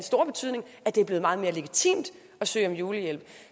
stor betydning at det er blevet meget mere legitimt at søge om julehjælp